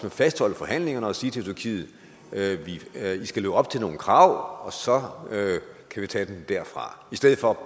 at fastholde forhandlingerne og sige til tyrkiet i skal leve op til nogle krav og så kan vi tage den derfra i stedet for